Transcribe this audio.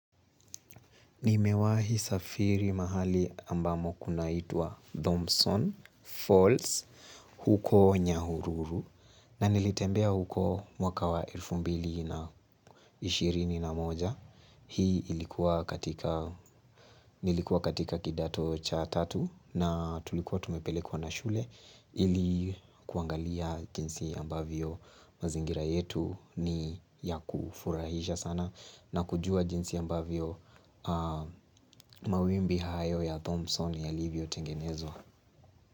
Nimewahi safiri mahali ambamo kuna itwa Thompson Falls huko Nyahururu na nilitembea huko mwaka wa 2021 hii ilikuwa katika kidato cha 3 na tulikuwa tumepelekwa na shule ilikuangalia jinsi ambavyo mazingira yetu ni ya kufurahisha sana na kujua jinsi ambavyo mawimbi hayo ya Thompson yaLivyo tengenezwa.